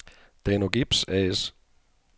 Danogips A/S